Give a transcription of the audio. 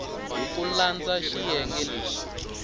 hi ku landza xiyenge lexi